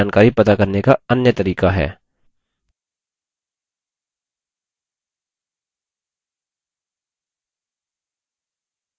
report query की तरह ही database से जानकारी पता करने का अन्य तरीका है